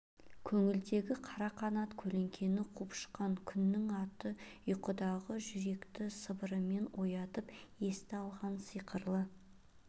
көңілдегі қара қанат көлеңкені қуып шыққан күннің аты ұйқыдағы жүректі сыбырымен оятып есті алған сиқырлы